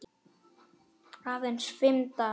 Aðeins fimm dagar.